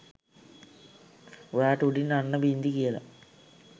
ඔයාට උඩින් අන්න බින්දි කියලා